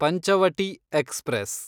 Panchavati express